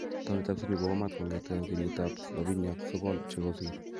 Townit ab Sydney kowo maat kongeten kenyitab 79 chekosir